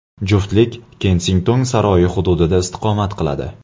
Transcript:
Juftlik Kensington saroyi hududida istiqomat qiladi.